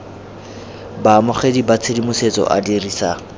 baamogedi ba tshedimosetso a dirisa